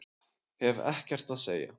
Hef ekkert að segja